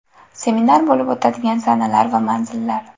Seminar bo‘lib o‘tadigan sanalar va manzillar.